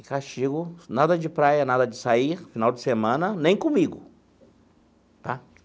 E castigo, nada de praia, nada de sair, final de semana, nem comigo tá.